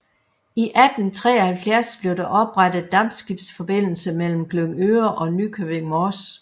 I 1873 blev der oprettet dampskibsforbindelse mellem Glyngøre og Nykøbing Mors